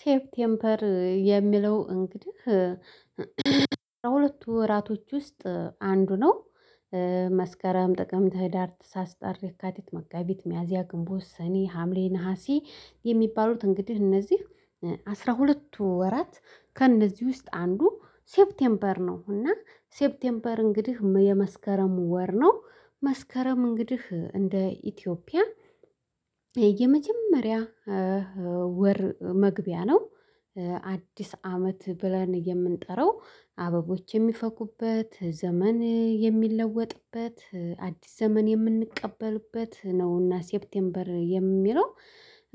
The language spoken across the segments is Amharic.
ሴፕቴምፐር የሚለው እንግዲህ ከሁለቱ ወራቶች ውስጥ አንዱ ነው። መስከረም ጥቅምት ህዳር ትሳስ ጥር የካቲት መጋቢት ሚያዚያ ግንቦት ሰኔ ሀምሌ ነሀሴ የሚባሉት እንግዲህ እነዚህ አስራ ሁለት ወራት ከእነዚህ ውስጥ አንዱ ሴፕቴምበር ነው። እና ሴፕቴምበር እንግዲህ የመስከረም ወር ነው መስከረም እንግዲህ እንደ ኢትዮጵያ የመጀመሪያ ወር መግቢያ ነው። አዲስ አመት ብለን የምንጠራው አበቦች የሚፈኩበት ዘመን የሚለወጥበት አዲስ ዘመን የምንቀበልበት ነውና። ሴፕቴምበር የሚለው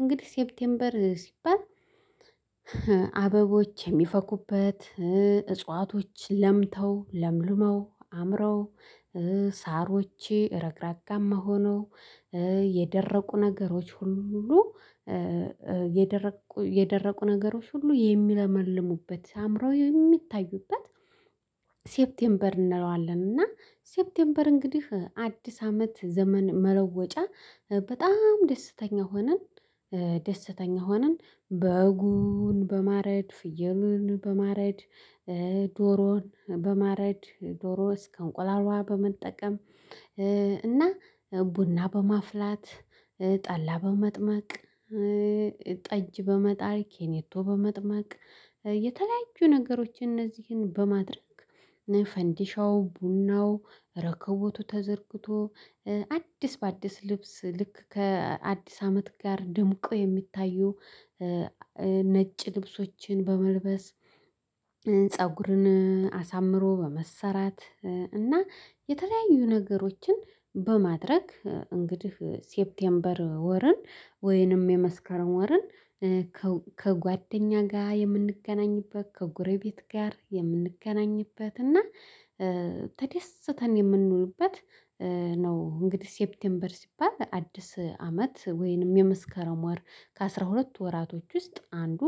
እንግዲህ ሴፕቴምበር ሲባል አበቦች የሚፈኩበት እጽዋቶች ለምተው ለምልመው አምረው ሳሮቼ ረግራጋማ ሆነው የደረቁ ነገሮች ሁሉ የደረቁ ነገሮች ሁሉ የሚለመልሙበት አምረው የሚታዩበት ሴፕቴምበር እንለዋለን። እና ሴፕቴምበር እንግዲህ አዲስ አመት ዘመን መለወጫ በጣም ደስተኛ ሆነን ደስተኛ ሆነን በጉን በማረድ ፍየሉን በማረድ። በማረድ ዶሮ እስከ እንቁላልዋ በመጠቀም እና ቡና በማፍላት ጠላ በመጥመቅ ጠጅ በመጣል ኬኔቶ በመጥማቅ የተለያዩ ነገሮችን እነዚህን በማድረግ ፈንዲሻው ቡናው ረከቦቱ ተዘርግቶ አዲስ በአዲስ ልብስ ልክ ከአዲስ አመት ጋር ድምቆ የሚታዩ። ነጭ ልብሶችን በመልበስ ፀጉርን አሳምሮ በመሰራት እና የተለያዩ ነገሮችን በማድረግ እንግዲህ ሴፕቴምበር ወርን ወይንም የመስከረም ወርን። ከጓደኛ ጋ የምንገናኝበት ከጎረቤት ጋር የምንገናኝበት እና ተደስተን የምንውልበት ነው። እንግዲህ ሴፕቴምበር ሲባል አዲስ አመት ወይንም የመስከረም ወር ከአሥራ ሁለት ወራቶች ውስጥ አንዱ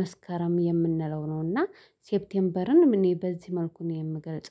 መስከረም የምንለው ነው። እና ሴፕቴምበርንም እኔ በዚህ መልኩ እኔ የምገልጸው